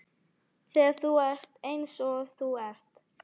Þegar þú ert eins og þú ert.